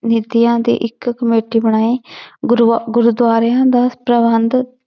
ਨੀਤੀਆਂ ਤੇ ਇੱਕ ਕਮੇਟੀ ਬਣਾਈ ਗੁਰੂਆ~ ਗੁਰਦੁਆਰਿਆਂ ਦਾ ਪ੍ਰਬੰਧ